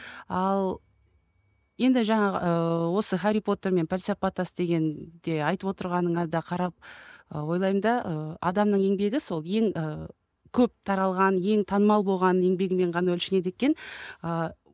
ал енді жаңағы ыыы осы хәрри потер мен пәлсапа тас дегенде айтып отырғаныңа да қарап ы ойлаймын да ыыы адамның еңбегі сол ең і көп таралған ең танымал болған еңбегімен ғана өлшенеді екен ыыы